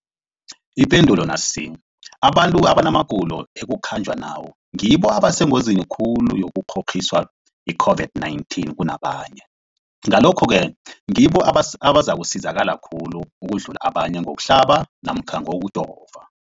Ipendulo, abantu abanamagulo ekukhanjwa nawo ngibo abasengozini khulu yokukghokghiswa yi-COVID-19 kunabanye, Ngalokhu-ke ngibo abazakusizakala khulu ukudlula abanye ngokuhlaba namkha ngokujova.